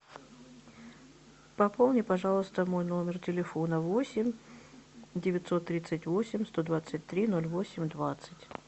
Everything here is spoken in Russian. пополни пожалуйста мой номер телефона восемь девятьсот тридцать восемь сто двадцать три ноль восемь двадцать